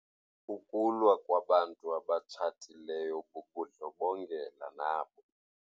Ukulwa kwabantu abatshatileyo bubundlobongela nabo.